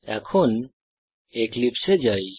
এখন এক্লিপসে এ যাই